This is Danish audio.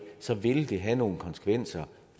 så vil det have nogle konsekvenser